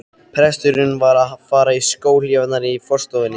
Presturinn var að fara í skóhlífarnar í forstofunni.